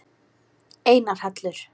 Einar Hallur.